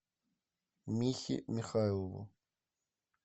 михе михайлову